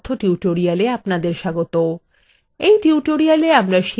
libreoffice base এর এই কথ্য tutorial আপনাদের স্বাগত